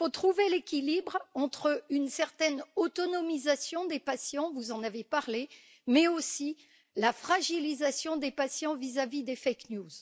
Il faut trouver l'équilibre entre une certaine autonomisation des patients, vous en avez parlé, mais aussi la fragilisation des patients vis à vis des infox.